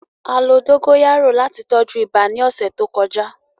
A lo dogoyaro lati tọju iba ni ọsẹ to kọja.